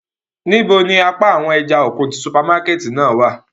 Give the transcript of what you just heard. Nibo ni apa awọn ẹja-okun ti supamakẹti náa wa?